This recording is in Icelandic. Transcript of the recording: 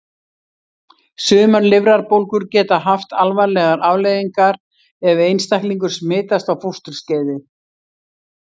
Sumar lifrarbólgur geta haft alvarlegar afleiðingar ef einstaklingur smitast á fósturskeiði.